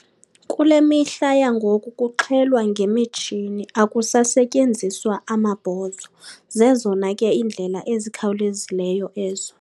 Kule mihla yangoku kuxhelwa ngemitshini, akusasetyenziswa amabhozo. Zezona ke iindlela ezikhawulezileyo ezo.